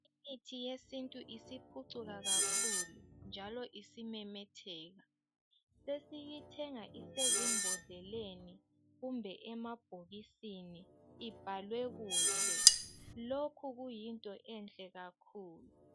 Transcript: Imithi yesintu isiphucuka kakhulu, njalo isimemetheka. Sesiyithenga usesibhodleleni, kumbe emabhokisini ibhalwe kuhle. Lokhu kuyinto enhle kakhulu.